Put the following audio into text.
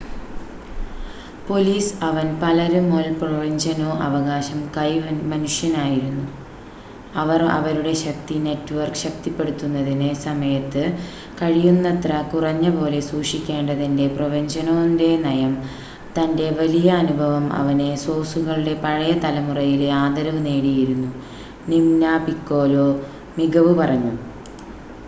police അവൻ പലര്മൊ ൽ പ്രൊവെന്ജനൊ അവകാശം-കൈ മനുഷ്യനായിരുന്നു അവർ അവരുടെ ശക്തി നെറ്റ്വർക്ക് ശക്തിപ്പെടുത്തുന്നതിന് സമയത്ത് കഴിയുന്നത്ര കുറഞ്ഞ പോലെ സൂക്ഷിക്കേണ്ടതിൻ്റെ പ്രൊവെന്ജനൊ ൻ്റെ നയം പോലെ തൻ്റെ വലിയ അനുഭവം അവനെ സോസുകളുടെ പഴയ തലമുറയിലെ ആദരവ് നേടിയിരുന്നു നിമ്ന പിക്കോലോ മികവ് പറഞ്ഞു